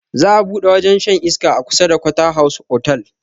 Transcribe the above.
Za a buɗe wajen shan iska a kusa da quarter house otal